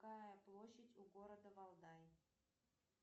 какая площадь у города валдай